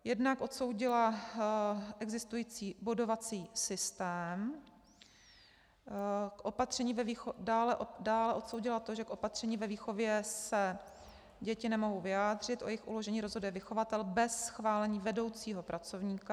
Jednak odsoudila existující bodovací systém, dále odsoudila to, že k opatřením ve výchově se děti nemohou vyjádřit, o jejich uložení rozhoduje vychovatel bez schválení vedoucího pracovníka.